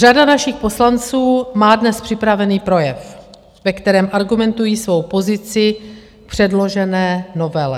Řada našich poslanců má dnes připraven projev, ve kterém argumentují svou pozici k předložené novele.